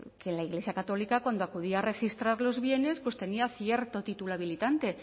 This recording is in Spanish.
que la iglesia católica cuando acudía a registrar los bienes pues tenía cierto título habilitante